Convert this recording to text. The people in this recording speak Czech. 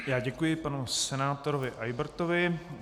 Já děkuji panu senátorovi Eybertovi.